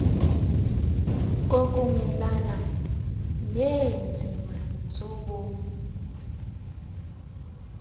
kokumelana neenzima zobomi